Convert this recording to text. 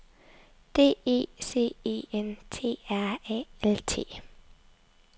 D E C E N T R A L T